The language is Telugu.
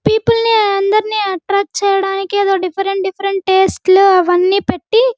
పీపుల్ ని అందరిని ఎట్రాక్ట్ చెయ్యడానికి ఎదో డిఫరెంట్ డిఫరెంట్ టేస్ట్ లు అవన్నీ పెట్టి --